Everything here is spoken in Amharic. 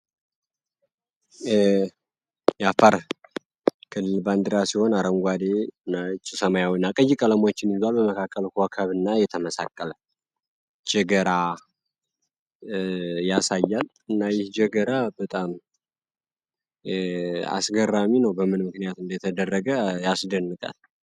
የአፋር ክልል ባንዲራ ሲሆን አረንጓዴ ሰማያዊና ቀይ ቀለሞች በመካከላቸው ኮከብ የተመሳቀለ ገጀራ እና ይህ ገጀራ በጣም አስገራሚ ነው በምን ምክንያት እንደተደረገ ያስገርማል።